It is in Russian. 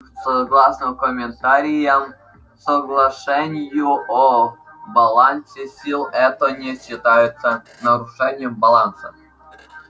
согласно комментариям к соглашению о балансе сил это не считается нарушением баланса